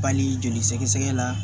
Bali joli sɛgɛsɛgɛ la